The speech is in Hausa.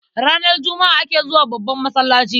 Ranar Juma'a ake zuwa babban masallaci.